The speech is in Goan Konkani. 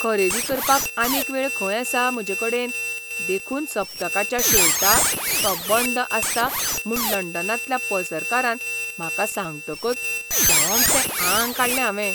खरेदी करपाक आनीक वेळ खंय आसा म्हजेकडेन देखून सप्तकाच्या शेवटाक तो बंद आसता म्हूण लंडनांतल्या पसरकारान म्हाका सांगतकच सोमतें आंग काडलें हांवें. !